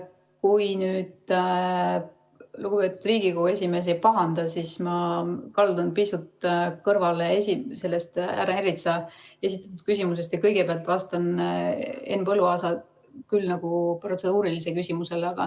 Kui nüüd lugupeetud Riigikogu esimees ei pahanda, siis ma kaldun pisut kõrvale härra Ernitsa esitatud küsimusest ja kõigepealt vastan Henn Põlluaasa küll nagu protseduurilisele küsimusele.